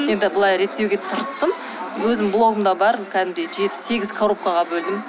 енді былай реттеуге тырыстым өзімнің блогымда бар кәдімгідей жеті сегіз коробкаға бөлдім